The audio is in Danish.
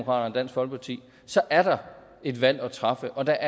og dansk folkeparti så er der et valg at træffe og der